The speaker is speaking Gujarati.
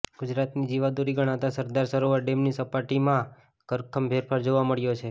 ગુજરાતની જીવાદોરી ગણાતા સરદાર સરોવર ડેમની સપાટીમાં ધરખમ ફેરફાર જોવા મળ્યો છે